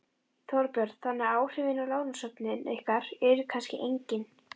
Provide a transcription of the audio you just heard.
Þorbjörn: Þannig að áhrifin á lánasöfnin ykkar eru kannski engin?